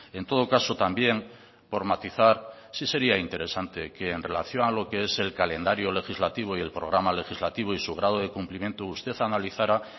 en todo caso también por matizar sí sería interesante que en relación a lo que es el calendario legislativo y el programa legislativo y su grado de cumplimiento usted analizara